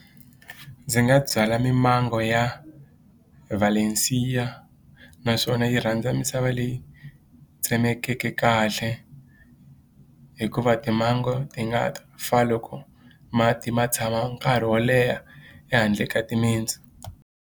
Ndzi nga byala mimango ya vhalensiya naswona yi rhandza misava leyi tsemekeke kahle hikuva mimango ti nga fa loko mati ma tshama nkarhi wo leha ehandle ka timitsu.